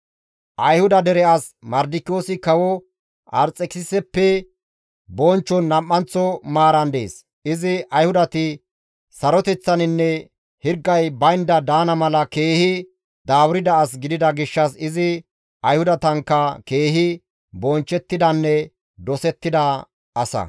Ayhuda dere as Mardikiyoosi kawo Arxekisiseppe bonchchon nam7anththo maaran dees; izi Ayhudati saroteththaninne hirgay baynda daana mala keehi daaburda as gidida gishshas izi Ayhudatankka keehi bonchchettidanne dosettida asa.